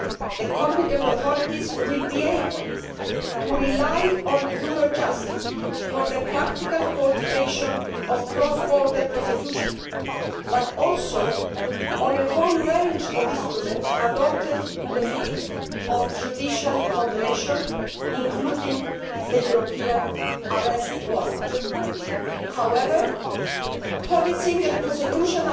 The competent authorities will be able to rely on Eurojust for the practical coordination of cross border prosecution, but also on a whole range of instruments adopted in the field of judicial cooperation, including the European Arrest Warrant. However, policing and prosecution